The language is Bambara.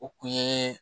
O kun ye